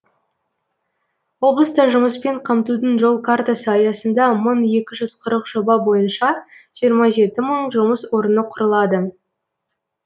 облыста жұмыспен қамтудың жол картасы аясында мың екі жүз қырық жоба бойынша жиырма жеті мың жұмыс орны құрылады